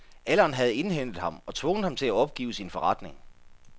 Alderen havde indhentet ham og tvunget ham til at opgive sin forretning.